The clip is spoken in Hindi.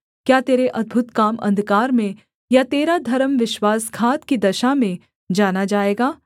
क्या तेरे अद्भुत काम अंधकार में या तेरा धर्म विश्वासघात की दशा में जाना जाएगा